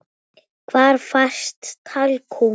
Hvar fæst talkúm?